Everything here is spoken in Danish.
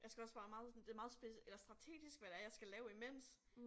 Jeg skal også være meget sådan det meget eller strategisk hvad det er jeg skal lave imens